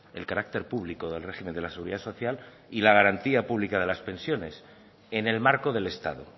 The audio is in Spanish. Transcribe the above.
el carácter público del régimen de la seguridad social y la garantía pública de las pensiones en el marco del estado